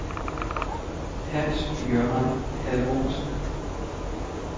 Hans-Jørgen Halvorsen